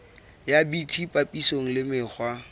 ya bt papisong le mekgwa